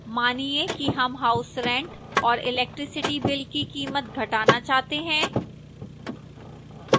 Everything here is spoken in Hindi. मानिए कि हम house rent और electricity bill की कीमत घटाना चाहते हैं